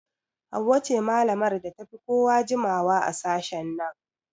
Hauwa ce malamar da ta fi kowa jimawa a sashen nan